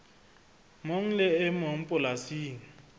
mong le e mong polasing